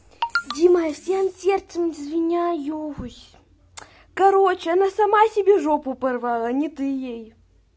дима я всем сердцем извиняюсь короче она сама себе жопу порвала не ты ей